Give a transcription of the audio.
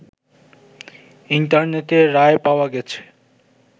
ইন্টারনেটে রায় পাওয়া গেছে